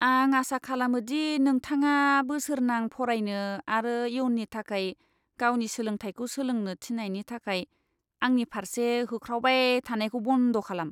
आं आसा खालामो दि नोंथाङा बोसोरनां फरायनो आरो इयुननि थाखाय गावनि सोलोंथायखौ सोलोंनो थिननायनि थाखाय आंनि फारसे होख्रावबाय थानायखौ बन्द' खालाम।